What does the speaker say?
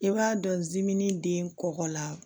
I b'a dɔn den kɔkɔ la